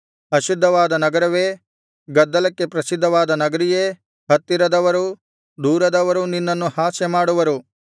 ಅಶುದ್ಧವಾದ ನಗರವೇ ಗದ್ದಲಕ್ಕೆ ಪ್ರಸಿದ್ಧವಾದ ನಗರಿಯೇ ಹತ್ತಿರದವರೂ ದೂರದವರೂ ನಿನ್ನನ್ನು ಹಾಸ್ಯಮಾಡುವರು